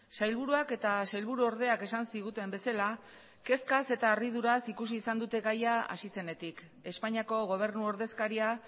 sailburuak eta sailburuordeak esan ziguten bezala kezkaz eta harriduraz ikusi izan dute gaia hasi zenetik espainiako gobernu ordezkaria